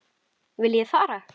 Viljið þið far?